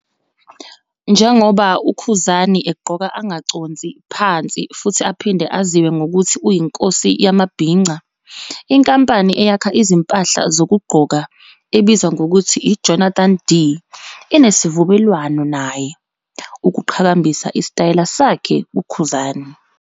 Njengoba uKhuzani egqoka angaconsi phansi futhi aphinde aziwe ngokuthi uyiNkosi yamaBhinca, inkampani eyakha izimpahla zokugqoka ebizwa ngokuthi i-"Jonathan D"' inesivumelwano naye, ukuqhakambisa isitayela sakhe uKhuzani.